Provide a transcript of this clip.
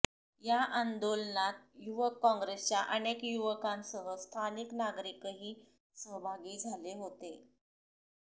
या आंदोलनात युवक काँग्रेसच्या अनेक युवकांसह स्थानिक नागरिकही सहभागी झाले होते